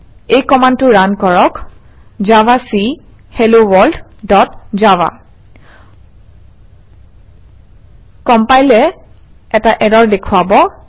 এই কমাণ্ডটো ৰান কৰক - জাভাক হেলোৱৰ্ল্ড ডট জাভা কম্পাইলাৰে এটা ইৰৰ দেখুৱাব